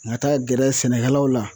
N ka taa gɛrɛ sɛnɛkɛlaw la